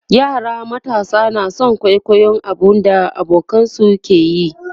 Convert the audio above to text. yara matasa na San kwaikwayon abun da abokanansu ke yi